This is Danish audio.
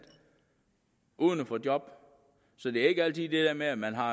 uden at få job så det er ikke altid det der med at man har